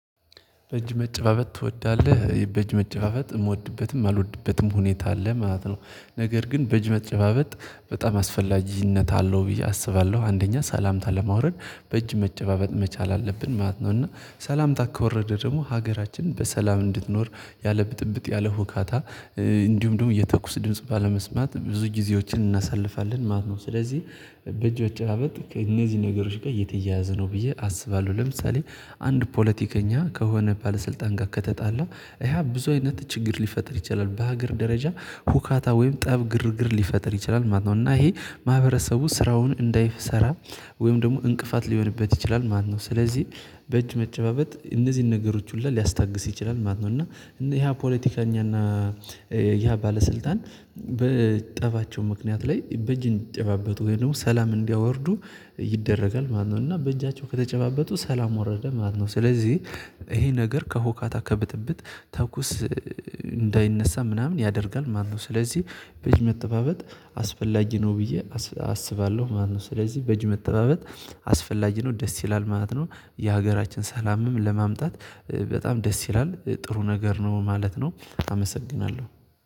በእጅ መጨባበጥ ትወዳለህ በእጅ መጨባበጥ የምወድበትም እማልወድበትም ሁኔታ አለ ማለት ነው። ነገር ግን በእጅ መጨባበጥ በጣም አስፈላጊነት አለው ብዬ አስባለሁ አንደኛ ሰላምታ ለመውረድ በእጅ መጨባበጥ መቻል አለብን ማለት ነው። እና ሰላምታ ከወረደ ደግሞ ሀገራችን በሰላም እንድትኖር ያለብጥብጥ ያለሁካታ እንዲሁም ደግሞ የተኩስ ድምጽ ባለመስማት ብዙ ጊዜዎችን እናሳልፋለን ማለት ነው። ስለዚህ በእጆች መጨባበጥ ከእነዚህ ነገሮች ጋር እየተያያዘ ነው ብዬ አስባለሁ። ለምሳሌ አንድ ፖለቲከኛ ከሆነ ባለስልጣን ጋር ከተጣላ ያ ብዙ አይነት ችግር ሊፈጥር ይችላል በሀገር ደረጃ ሁካታ ወይም ጠብ ግርግር ሊፈጥር ይችላል ማለት ነው። እና ይሄ ማህበረሰቡ ስራውን እንዳይሰራ ወይም ደግሞ እንቅፋት ሊሆንበት ይችላል ማለት ነው። ስለዚህ በእጅ መጨባበጥ እነዚህን ነገሮች ሁሉ ሊያስታግስ ይችላል። ማነው እና ይሄ ፖለቲካኛና ያ ባለስልጣን በጠባቸው ምክንያት ላይ በእጅ እንዲጨባበጡ ወይም ደግሞ ሰላም እንዲያወርዱ ይደረጋል ማለት ነው። እና በእጃቸው ከተጨባበጡ ሰላም ወረደ ማለት ነው። ስለዚህ ይሄ ነገር ከሆካታ ከብጥብጥ ተኩስ እንዳይነሳ ምናምን ያደርጋል ማለት ነው። ስለዚህ በእጅመጨባበጥ አስፈላጊ ነው ብዬ አስባለሁ ማለት ነው። ስለዚህ በእጅ መተባበጥ አስፈላጊ ነው ደስ ይላል ማለት ነው። የሀገራችን ሰላምም ለማምጣት በጣም ደስ ይላል ጥሩ ነገር ነው ማለት ነው። አመሰግናለሁ